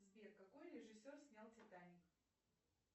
сбер какой режиссер снял титаник